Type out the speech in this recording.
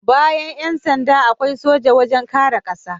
Bayan Yan sanda, akwai soja wajen kare ƙasa